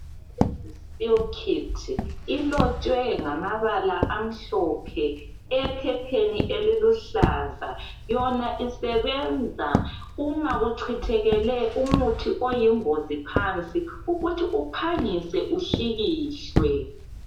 Emergency spill kit ilotshwe ngamabala amhlophe ephepheni eliluhlaza yona isebenza uma kuchithekele umuthi oyingozi phansi ukuthi uphangise uhlikihlwe.